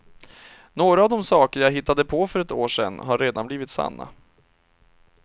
Några av de saker jag hittade på för ett år sedan har redan blivit sanna.